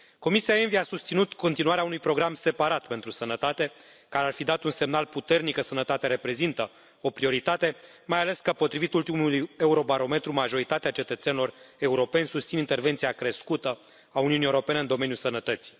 Comisia ENVI a susținut continuarea unui program separat pentru sănătate, care ar fi dat un semnal puternic că sănătatea reprezintă o prioritate, mai ales că, potrivit ultimului Eurobarometru, majoritatea cetățenilor europeni susțin intervenția crescută a Uniunii Europene în domeniul sănătății.